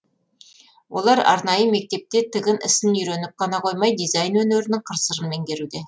олар арнайы мектепте тігін ісін үйреніп қана қоймай дизайн өнерінің қыр сырын меңгеруде